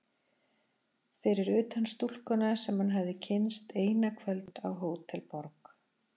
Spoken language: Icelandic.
Fyrir utan stúlkuna sem hann hafði kynnst eina kvöldstund á Hótel Borg.